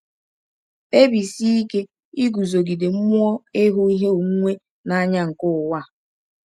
Kpebisie ike iguzogide mmụọ ịhụ ihe onwunwe n’anya nke ụwa a.